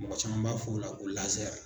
Mɔgɔ caman b'a f'o la ko